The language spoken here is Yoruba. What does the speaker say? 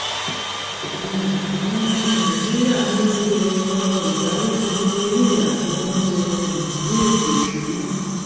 um àwọn ọmọ nàìjíríà ni ó yẹ tọrọ ìdáríjì nítorí ìyà tí wọn jẹ um ní ètò ìsúná